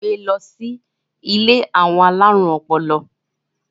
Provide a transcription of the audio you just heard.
wón gbé ló sì ilé àwọn alarun ọpọlọ